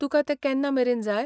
तुकां तें केन्ना मेरेन जाय?